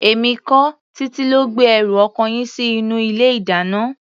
Èmi kọ́, Títí ló gbé ẹrù ọkọ yín sí inú ilé-ìdáná.